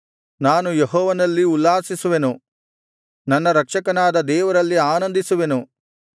ನಾನು ಯೆಹೋವನಲ್ಲಿ ಉಲ್ಲಾಸಿಸುವೆನು ನನ್ನ ರಕ್ಷಕನಾದ ದೇವರಲ್ಲಿ ಆನಂದಿಸುವೆನು